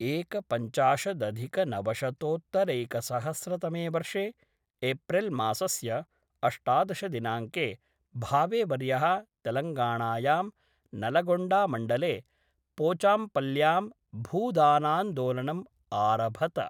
एकपञ्चाशदधिकनवशतोत्तरैकसहस्रतमे वर्षे एप्रिल्मासस्य अष्टादश दिनाङ्के भावेवर्यः तेलङ्गाणायां नलगोण्डामण्डले पोचाम्पल्ल्यां भूदानान्दोलनम् आरभत।